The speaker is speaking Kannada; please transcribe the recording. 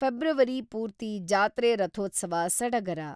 ಫೆಬ್ರವರಿ ಪೂರ್ತಿ ಜಾತ್ರೆ-ರಥೋತ್ಸವ ಸಡಗರ.